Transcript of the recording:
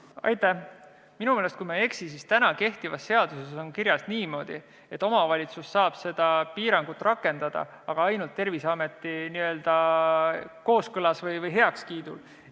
Kui ma ei eksi, siis minu meelest on täna kehtivas seaduses kirjas niimoodi, et omavalitsus saab piirangut rakendada, aga ta saab seda teha ainult Terviseametiga kooskõlas või selle heakskiidul.